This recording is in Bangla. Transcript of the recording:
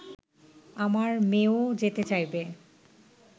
আমার মেয়েও যেতে চাইবে